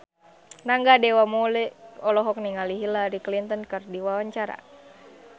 Rangga Dewamoela olohok ningali Hillary Clinton keur diwawancara